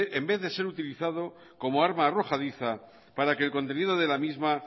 en vez de ser utilizado como arma arrojadiza para que el contenido de la misma